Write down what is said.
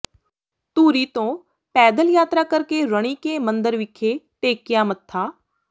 ਧੂਰੀ ਤੋਂ ਪੈਦਲ ਯਾਤਰਾ ਕਰਕੇ ਰਣੀਕੇ ਮੰਦਰ ਵਿਖੇ ਟੇਕਿਆ ਮੱਥਾ